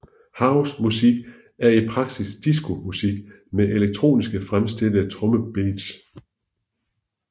House musik er i praksis disco musik med elektroniske fremstillede trommebeats